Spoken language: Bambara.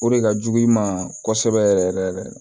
O de ka jugu i ma kosɛbɛ yɛrɛ yɛrɛ